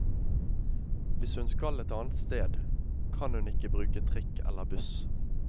Hvis hun skal et annet sted, kan hun ikke bruke trikk elle buss.